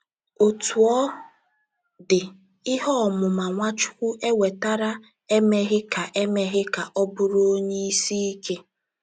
Otú ọ dị, ihe ọmụma Nwachukwu enwetara emeghị ka emeghị ka ọ bụrụ onye isi ike.